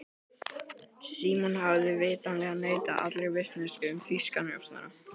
Símon hafði vitanlega neitað allri vitneskju um þýska njósnara.